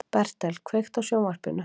Bertel, kveiktu á sjónvarpinu.